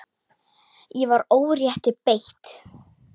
Ég var órétti beitt.